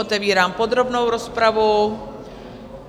Otevírám podrobnou rozpravu.